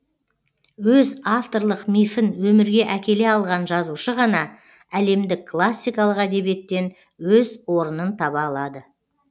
өз авторлық мифін өмірге әкеле алған жазушы ғана әлемдік классикалық әдебиеттен өз орнын таба алады